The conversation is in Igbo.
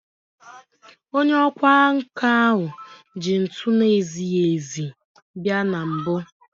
Onye ọkwá nkà ahụ ji ntu na-ezighị ezi bia na mbụ